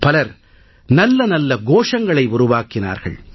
பலர் நல்ல நல்ல கோஷங்களை உருவாக்கினார்கள்